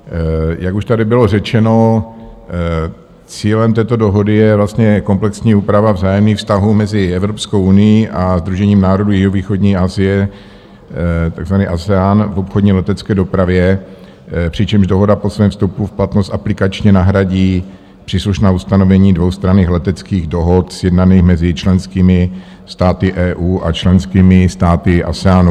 Jak už tady bylo řečeno, cílem této dohody je vlastně komplexní úprava vzájemných vztahů mezi Evropskou unií a Sdružením národů jihovýchodní Asie, takzvaný ASEAN, v obchodní letecké dopravě, přičemž dohoda po svém vstupu v platnost aplikačně nahradí příslušná ustanovení dvoustranných leteckých dohod sjednaných mezi členskými státy EU a členskými státy ASEANu.